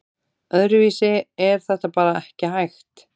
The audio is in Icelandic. Öðruvísi er þetta bara ekki hægt